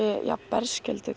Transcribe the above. jafn berskjölduð